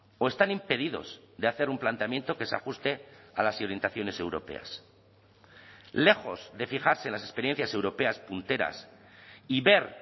o están impedidos de hacer un planteamiento que se ajuste a las orientaciones europeas lejos de fijarse las experiencias europeas punteras y ver